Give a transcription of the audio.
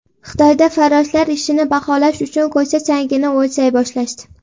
Xitoyda farroshlar ishini baholash uchun ko‘cha changini o‘lchay boshlashdi.